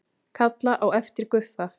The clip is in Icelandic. Kalla á eftir Guffa.